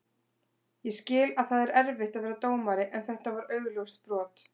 Ég skil að það er erfitt að vera dómari en þetta var augljóst brot.